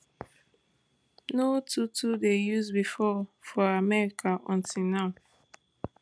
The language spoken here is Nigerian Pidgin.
no too too dey use bifor for america until now